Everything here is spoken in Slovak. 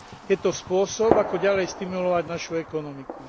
Je to spôsob, ako ďalej stimulovať našu ekonomiku.